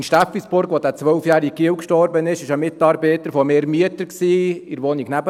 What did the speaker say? In Steffisburg, als dieser zwölfjährige Junge starb, war ein Mitarbeiter von mir Mieter in der Wohnung nebenan.